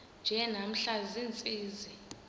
nje namhla ziintsizi